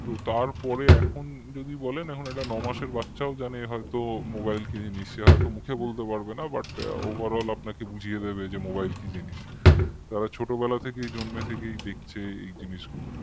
তারপরে যদি এখন বলেন একটা ন মাসের বাচ্চাও জানে তো mobile কি জিনিস সে হয়তো মুখে বলতে পারবে না but overall আপনাকে বুঝিয়ে দেবে যে mobile কি জিনিস তারা ছোটবেলা থেকেই জন্ম থেকেই দেখছে এই জিনিসগুলো